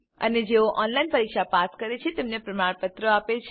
અને જેઓ ઓનલાઈન પરીક્ષા પાસ કરે છે તેમને પ્રમાણપત્રો આપે છે